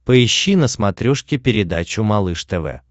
поищи на смотрешке передачу малыш тв